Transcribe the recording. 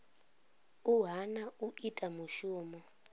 u hana u ita mushumo